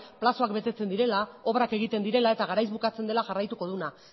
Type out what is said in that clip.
epeak betetzen direla obrak egiten direla eta garaiz bukatzen dela jarraituko duena